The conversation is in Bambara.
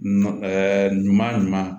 ɲuman ɲuman